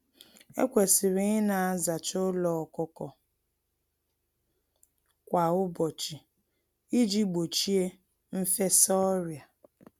Ekwesịrị ịna-azacha ụlọ ọkụkọ kwa ụbọchị iji gbochie mfesa ọrịa.